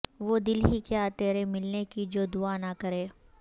وہ دل ہی کیا تیرے ملنے کی جو دعا نہ کرے